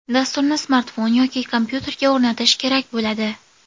Dasturni smartfon yoki kompyuterga o‘rnatish kerak bo‘ladi.